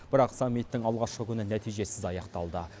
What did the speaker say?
бірақ саммиттің алғашқы күні нәтижесіз аяқталды